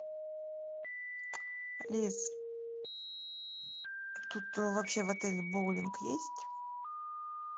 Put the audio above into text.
алис тут вообще в отеле боулинг есть